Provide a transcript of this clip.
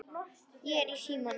Ég er í símanum